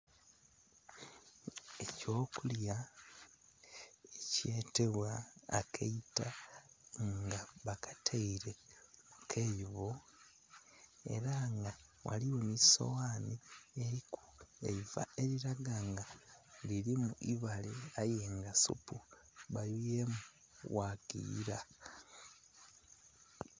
Ekyokulya ekyetebwa akaita nga bakataire kukaibo era nga ghaligho n'esowani eriku eiva eriraga nga lirimu ibaale aye nga supu bayuyemu wakiyira.